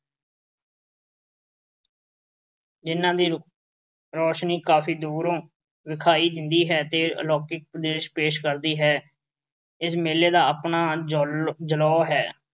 ਇਨ੍ਹਾਂ ਦੀ ਰੌਸ਼ਨੀ ਕਾਫ਼ੀ ਦੂਰੋਂ ਵਿਖਾਈ ਦਿੰਦੀ ਹੈ ਤੇ ਅਲੌਕਿਕ ਪੇਸ਼ ਕਰਦੀ ਹੈ। ਇਸ ਮੇਲੇ ਦਾ ਆਪਣਾ ਜੌਲ ਅਹ ਜਲੌਅ ਹੈ।